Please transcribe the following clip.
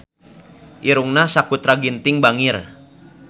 Irungna Sakutra Ginting bangir